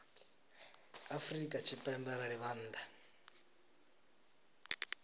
afrika tshipembe arali vha nnḓa